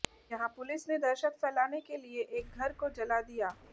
यहां पुलिस ने दहशत फैलाने के लिए एक घर को जला दिया